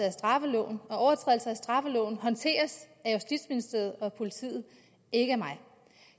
af straffeloven og overtrædelser af straffeloven håndteres af justitsministeriet og politiet ikke af mig